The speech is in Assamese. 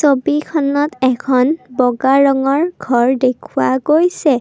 ছবিখনত এখন বগা ৰঙৰ ঘৰ দেখুওৱা গৈছে।